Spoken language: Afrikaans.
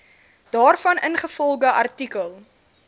daarvan ingevolge artikel